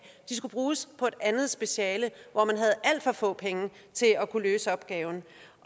de skulle bruges på et andet speciale hvor man havde alt for få penge til at kunne løse opgaven